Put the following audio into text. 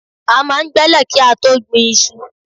A máa ń gbẹ́lẹ̀ kí á tó gbin iṣu.